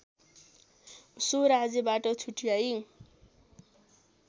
so राज्यबाट छुट्याई